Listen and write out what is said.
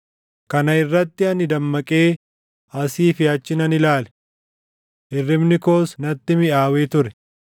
Kana irratti ani dammaqee asii fi achi nan ilaale. Hirribni koos natti miʼaawee ture.